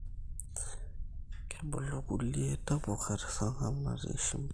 Kebulu kulie tapuka tesarngab natii shimbi